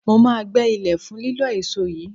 Mo máa gbẹ́ ilẹ̀ fún lílọ́ èso yìí